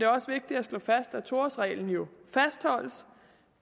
også vigtigt at slå fast at to årsreglen jo fastholdes